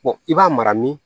i b'a mara min